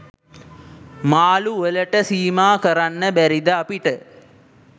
මාලු වලට සීමා කරගන්න බැරිද අපිට?